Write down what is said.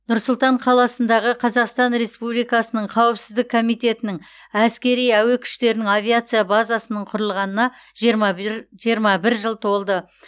нұр сұлтан қаласындағы қазақстан республикасының қауіпсіздік комитетінің әскери әуе күштерінің авиация базасының құрылғанына жиырма бір жыл толды